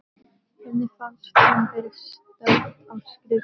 Henni fannst hún vera stödd á skrifstofu